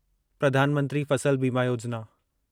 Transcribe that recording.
Pradhan Mantri Fasal Bima Yojana